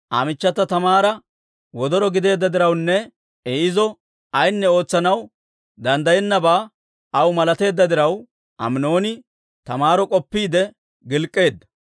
Aa michchata Taamaara wodoro gideedda dirawunne I izo ayinne ootsanaw danddayennabaa aw malateedda diraw, Aminooni Taamaaro k'oppiide gilk'k'eedda.